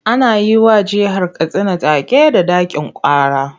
Ana yi wa jihar Katsina take da 'ɗakin kara'.